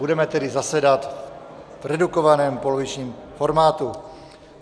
Budeme tedy zasedat v redukovaném polovičním formátu.